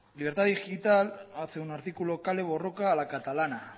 libertad digital hace un artículo kale borroka a la catalana